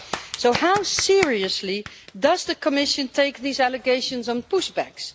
So how seriously does the Commission take these allegations on push backs?